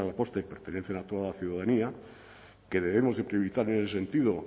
postre pertenecen a toda la ciudadanía que debemos de priorizar en ese sentido